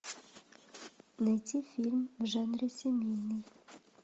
найти фильм в жанре семейный